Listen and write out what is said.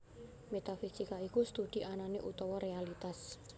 Métafisika iku studi anané utawa réalitas